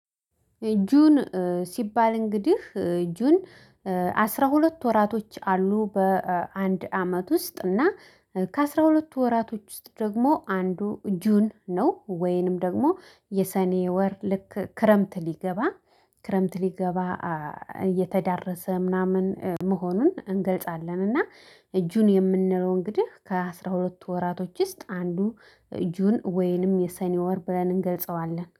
ጁን ሲባል እንግዲህ ጁን አስራ ሁለት ወራቶች አሉ በአንድ አመት ውስጥ እና ከአስራ ሁለቱ ወራቶች ውስጥ ደግሞ አንዱ ጁን ነው። ወይንም ደግሞ የሰኔ ወር ልክ ክረምት ሊገባ ክረምት ሊገባ እየተዳረሰ ምናምን መሆኑን እንገልጻለን። እና ጁን የምንለው እንግዲህ ከአስራ ሁለቱ ወራቶች ውስጥ አንዱ ጁን ወይንም የሰኔ ወር ብለን እንገልጸዋለን